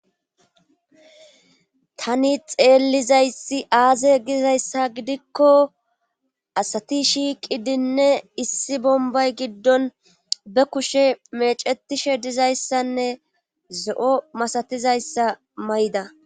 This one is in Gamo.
Tani xeellizayssi aaze gizayssa gidikko asati shiiqidinne issi bombay giddon be kushe mecetishe dizayssanne zo7o masatizayssa may7da.